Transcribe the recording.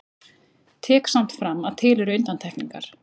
Tek samt fram að til eru undantekningar.